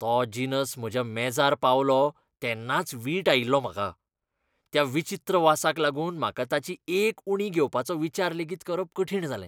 तो जिनस म्हज्या मेजार पावलो तेन्नाच वीट आयिल्लो म्हाका. त्या विचित्र वासाक लागून म्हाका ताची एक उंडी घेवपाचो विचार लेगीत करप कठीण जालें.